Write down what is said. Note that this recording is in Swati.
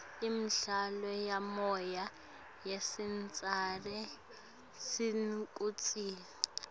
imidlalo yemoya lesicitsa sithukutseti